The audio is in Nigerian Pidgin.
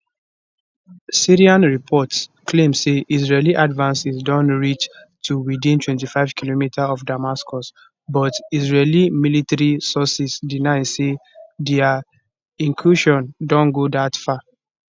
syrian reports claim say israeli advances don reach to within 25km of damascus but israeli military sources deny say dia incursion don go dat far